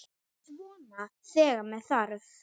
Svona þegar með þarf.